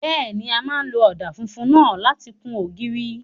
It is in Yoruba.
Bẹ́ẹ̀ni, a máa lo ọ̀dà funfun náà láti kun ògiri.